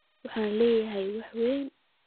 Waxan Lee yahy wax weyn.